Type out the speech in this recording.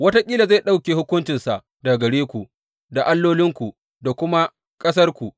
Wataƙila zai ɗauke hukuncinsa daga gare ku da allolinku da kuma ƙasarku.